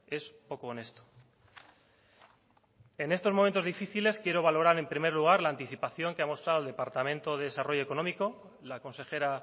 es poco honesto en estos momentos difíciles quiero valorar en primer luga la anticipación que ha mostrado el departamento de desarrollo económico la consejera